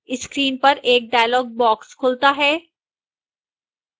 screen पर एक dialog box खुलता है